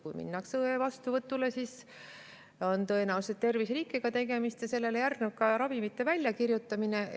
Kui minnakse õe vastuvõtule, siis on tõenäoliselt tegemist terviserikkega ja järgneb ka ravimite väljakirjutamine.